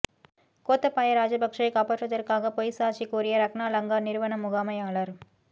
கோத்தபாய ராஜபக்சவை காப்பாற்றுவதற்காக பொய்ச் சாட்சி கூறிய ரக்னா லங்கா நிறுவன முகாமையாளர்